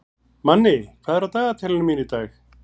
Manni, hvað er á dagatalinu mínu í dag?